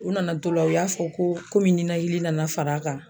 U nana to la, u y'a fɔ ko komi nɛnɛkili nana far'a kan.